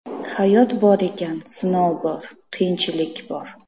Hayot bor ekan, sinov bor, qiyinchilik bor.